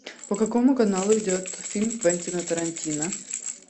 по какому каналу идет фильм квентина тарантино